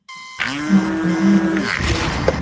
Margt um manninn á Vitastíg